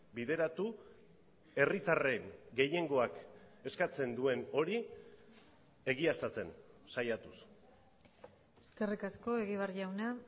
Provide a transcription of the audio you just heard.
bideratu herritarren gehiengoak eskatzen duen hori egiaztatzen saiatuz eskerrik asko egibar jauna